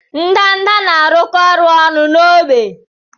Ndanda na-arụkọ ọrụ ọnụ na ógbè.